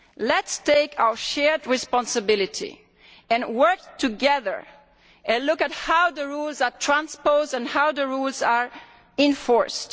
Let us take our shared responsibility and work together and look at how the rules are transposed and how the rules are enforced.